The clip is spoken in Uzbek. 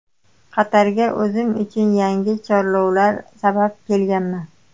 Qatarga o‘zim uchun yangi chorlovlar sabab kelganman.